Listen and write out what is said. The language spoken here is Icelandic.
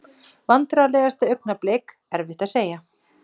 Vandræðalegasta augnablik: Erfitt að segja.